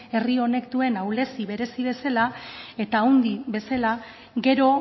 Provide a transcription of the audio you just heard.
herri honek duen ahulezia berezi bezala eta handi bezala gero